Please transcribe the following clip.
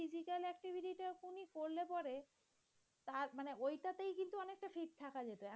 তা মানে ওইটাতে কিন্তু অনেকটা fit থাকা যেত।